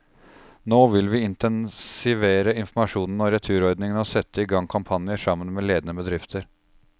Nå vil vi intensivere informasjonen om returordningen og sette i gang kampanjer, sammen med ledende bedrifter.